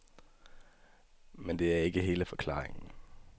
Men det er ikke hele forklaringen.